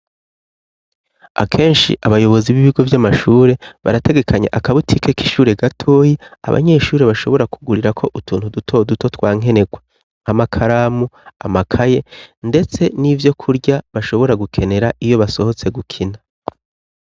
Akenshi abayobozi b'ibigo vy'amashure barategekanya akabutike k'ishure gatoyi abanyeshure bashobora kugurira ko utuntu duto duto twa nkenerwa nk'amakaramu amakaye, ndetse n'ivyo kurya bashobora gukenera iyo basohotse gukina.